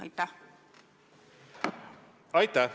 Aitäh!